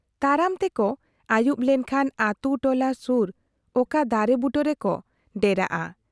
ᱛᱟᱲᱟᱢ ᱛᱮᱠᱚ ᱟᱹᱭᱩᱵ ᱞᱮᱱ ᱠᱷᱟᱱ ᱟᱹᱛᱩ ᱴᱚᱞᱟ ᱥᱩᱨ ᱚᱠᱟ ᱫᱟᱨᱮ ᱵᱩᱴᱟᱹ ᱨᱮᱠᱚ ᱰᱮᱨᱟᱜᱼᱟ ᱾